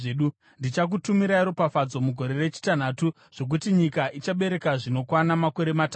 Ndichakutumirai ropafadzo mugore rechitanhatu zvokuti nyika ichabereka zvinokwana makore matatu.